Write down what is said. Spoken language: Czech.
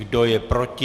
Kdo je proti?